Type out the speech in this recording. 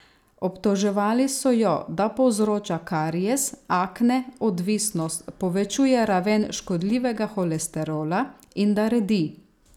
Obtoževali so jo, da povzroča karies, akne, odvisnost, povečuje raven škodljivega holesterola in da redi.